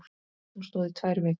Hún stóð í tvær vikur.